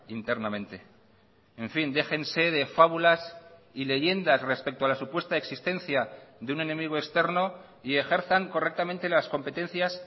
internamente en fin déjense de fábulas y leyendas respecto a la supuesta existencia de un enemigo externo y ejerzan correctamente las competencias